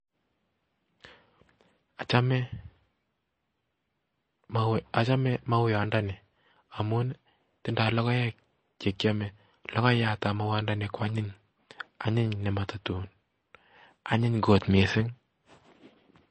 Achome mauwat inoni amun tindoo logoek che kiome, logoyaat ab mauyandani koanyiny, onyiny, logoek che matatun anyiny kot missing